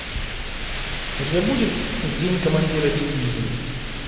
у тебя будет день командира дивизии